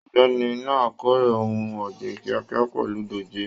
Ọ̀gbẹ́ni náà k'ore ohùn ọ̀gbìn kíákíá pẹlú dòjé.